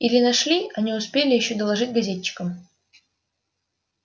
или нашли а не успели ещё доложить газетчикам